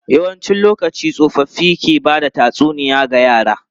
Yawancin lokaci, tsofaffi ke ba da tatsuniya ga yara.